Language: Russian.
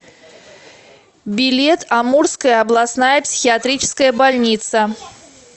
билет амурская областная психиатрическая больница